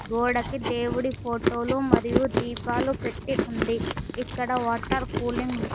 గోడకి దేవుడి ఫోటో లు మరియు దీపాలు పెట్టి ఉంది ఇక్కడ వాటర్ కూలింగ్ మిషన్ .